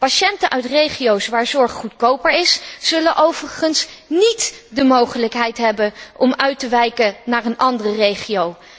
Patiënten uit regio's waar zorg goedkoper is, zullen overigens niet de mogelijkheid hebben om uit te wijken naar een andere regio.